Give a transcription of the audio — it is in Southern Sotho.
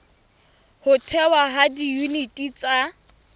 ho thehwa ha diyuniti tsa